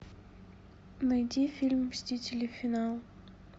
найди фильм мстители финал